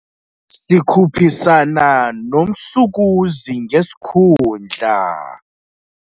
Sikhuphisana nomsukuzi ngesikhundla.